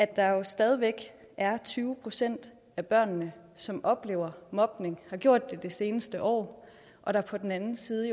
der jo stadig væk er tyve procent af børnene som oplever mobning og har gjort det det seneste år og der på den anden side